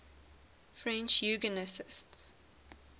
french eugenicists